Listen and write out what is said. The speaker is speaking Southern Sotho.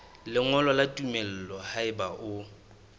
lengolo la tumello haeba o